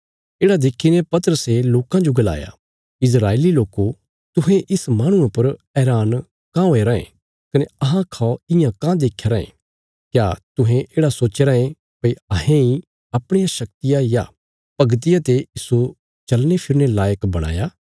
येढ़ा देखीने पतरसे लोकां जो गलाया इस्राएली लोको तुहें इस माहणुये पर हैरान काँह हुये रायें कने अहां खौ इयां काँह देख्या रायें क्या तुहें येढ़ा सोच्चया राँये भई अहें इ अपणिया शक्तिया या भगतिया ते इस्सो चलनेफिरने लायक बणाया